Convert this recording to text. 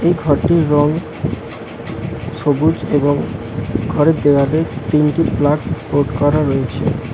এই ঘরটির রং সবুজ এবং ঘরের দেওয়ালে তিনটি প্লাগ বোর্ড করা রয়েছে।